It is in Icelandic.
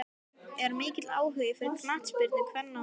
Er mikill áhugi fyrir knattspyrnu kvenna á Húsavík?